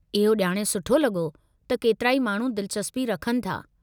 इहो ॼाणे सुठो लॻो त केतिराई माण्हू दिलचस्पी रखनि था।